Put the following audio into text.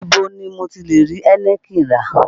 Ibo ni mo ti lè rí Heineken rà?